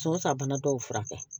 So sabana dɔw furakɛ